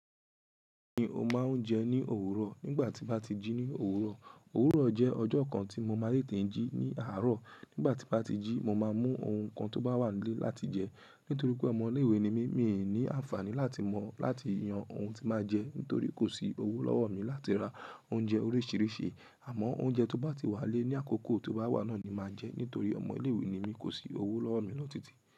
Mi ò máa ń jẹ ní òwúrọ̀ nígbà tí bá ti jí ní òwúrọ̀. Òwúrọ̀ jẹ́ ọjọ́ kan tí mo máa ti tẹ̀ jí ní àárọ̀. Nígbà tí bá ti jí, mo máa mú ohun kan tó bá wà nílé láti jẹ. Nítorí pé ọmọ ilé-ìwé ni mí, mi ò ní àǹfààní láti mọ̀ láti yan ohun tí máa jẹ, nítorí kò sí owó lọ́wọ́ mi láti ra oúnjẹ oríṣiríṣi. Àmọ́ oúnjẹ tó bá ti wà lé ní àkókò tó bá wà náà ni màá jẹ, nítorí ọmọ ilé-ìwé ni mí, kò sí owó lọ́wọ́ mi lọ́ títì.